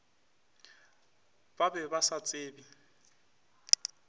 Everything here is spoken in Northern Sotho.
ba be ba sa tsebe